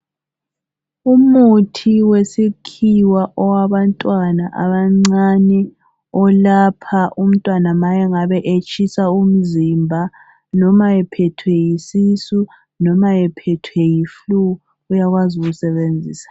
Umuthi wesikhiwa owabantwana abancane, olapha umntwana ma ngabe etshisa umzimba, noma ephethwe yisisu, noma ephethwe yifulu, uyakwazi ukuyusebenzisa.